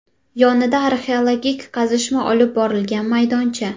Yonida arxeologik qazishma olib borilgan maydoncha.